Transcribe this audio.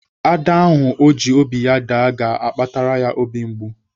Ada ahụ ọ ji obi ya daa ga-akpatara ya obi mgbu.